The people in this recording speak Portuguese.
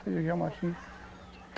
Fazia jamaxim.